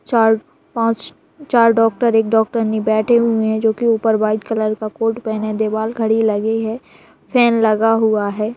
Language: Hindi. चार पांच चार डॉक्टर एक डॉक्टरनी बैठे हुए हैं जो कि ऊपर व्हाइट कलर का कोट पहने देवाल घड़ी लगे हैं फेन लगी हुई है।